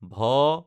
ভ